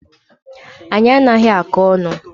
Anyi anaghi akọ onu